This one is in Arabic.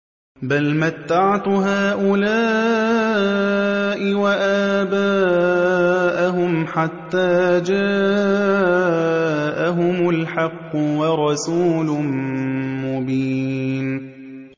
بَلْ مَتَّعْتُ هَٰؤُلَاءِ وَآبَاءَهُمْ حَتَّىٰ جَاءَهُمُ الْحَقُّ وَرَسُولٌ مُّبِينٌ